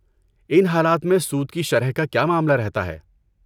ان حالات میں سود کی شرح کا کیا معاملہ رہتا ہے؟